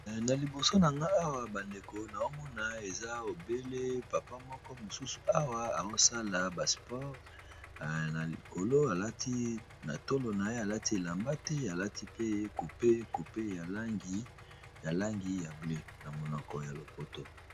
Na liboso na nga awa bandeko na omona eza obele papa moko mosusu awa aosala ba sport na likolo alati na tolo na ye alati elamba te alati pe coupe coupe ya langi ya langi ya bleu na monoko ya lopoto.